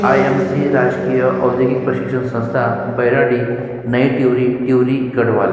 आई. M. C राजकीय औद्योगिक प्रशिक्षण संस्थान बौराड़ी नई टिहरी टिहरी गढ़वाल।